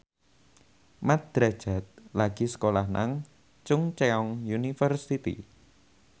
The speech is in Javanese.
Mat Drajat lagi sekolah nang Chungceong University